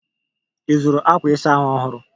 Ị zụrụ akwa ịsa ahụ ọhụrụ?